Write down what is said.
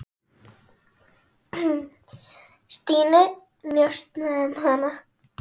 Stínu, njósna um hana.